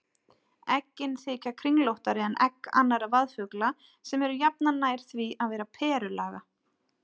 Eggin þykja kringlóttari en egg annarra vaðfugla sem eru jafnan nær því að vera perulaga.